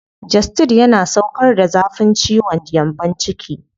Gestid yana sauƙar da zafin ciwon gyambon ciki.